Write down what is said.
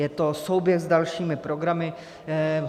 Je to souběh s dalšími programy.